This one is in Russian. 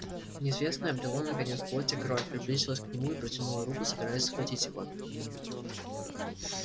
неизвестное обрело наконец плоть и кровь приблизилось к нему и протянуло руку собираясь схватить его